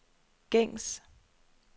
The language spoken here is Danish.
gængs